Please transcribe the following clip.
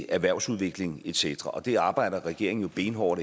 erhvervsudvikling et cetera og det arbejder regeringen jo benhårdt